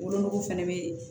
Wolonugu fɛnɛ bɛ yen